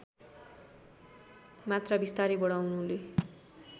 मात्रा बिस्तारै बढाउनुले